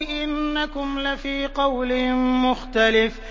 إِنَّكُمْ لَفِي قَوْلٍ مُّخْتَلِفٍ